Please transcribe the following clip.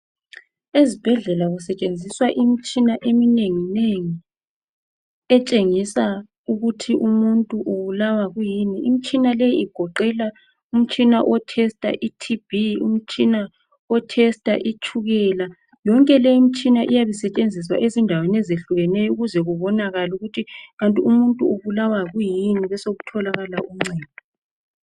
Ezibhedlela kusetshenziswa imitshina eminenginengi etshengisa ukuthi umuntu ubulawa kuyini. Imtshina leyi igoqela umtshina othesta i TB, umtshina othesta itshukela, yonke leyi imitshina iyabe isetshenziswa ezindaweni ezehlukeneyo ukuze kubonakale ukuthi kanti umuntu ubulawa yikuyini besekutholakala uncedo.